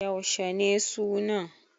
Yaushe ne sunan?